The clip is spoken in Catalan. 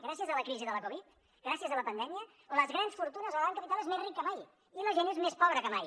gràcies a la crisi de la covid gràcies a la pandèmia les grans fortunes el gran capital és més ric que mai i la gent és més pobra que mai